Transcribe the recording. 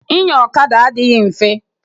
Inya ọkada adịghị mfe.